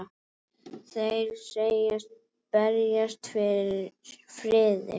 Þeir segjast berjast fyrir friði.